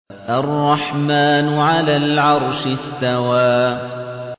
الرَّحْمَٰنُ عَلَى الْعَرْشِ اسْتَوَىٰ